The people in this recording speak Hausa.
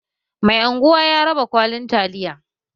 Mai anguwa ya raba kwalin taliya